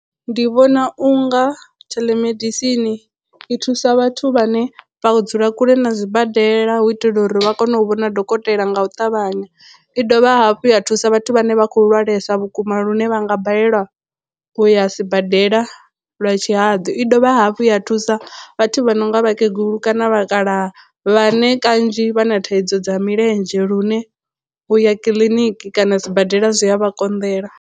Ndi vhona unga theḽemedisini i thusa vhathu vhane vha dzula kule na zwibadela hu itela uri vha kone u vhona dokotela nga u ṱavhanya i dovha hafhu ya thusa vhathu vhane vha khou lwalesa vhukuma lune vhanga balelwa u ya sibadela lwa tshihaḓu, i dovha hafhu ya thusa vhathu vha no nga vhakegulu kana vha kala vhane kanzhi vha na thaidzo dza milenzhe lune u ya kiḽiniki kana sibadela zwi a vha konḓela.